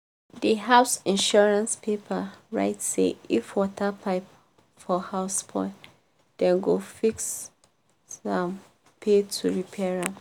di house insurance paper write say if water pipe for house spoil dem go fit um pay to repair am.